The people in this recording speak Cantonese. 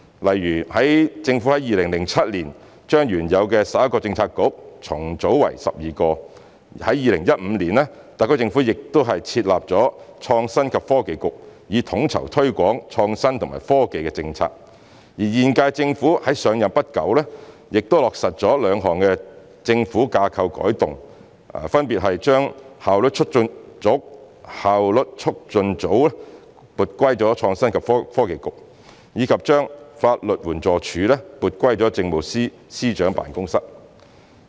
例如，政府在2007年將原有的11個政策局重組為12個；在2015年，特區政府又設立創新及科技局，以統籌推廣創新及科技的政策；而在現屆政府上任不久，也落實了兩項政府架構改動，分別是把當時的效率促進組撥歸創新及科技局，以及把法律援助署撥歸政務司司長辦公室。